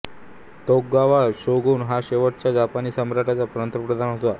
Tokugawa shogun हा शेवटच्या जपानी साम्राटाचा पंतप्रधान होता